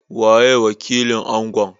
Waye wakilin Angon?